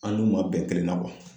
An n'u ma bɛn kelen na